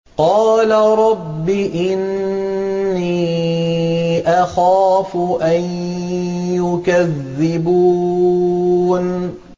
قَالَ رَبِّ إِنِّي أَخَافُ أَن يُكَذِّبُونِ